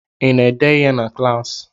I na-ede ihe na klaasị?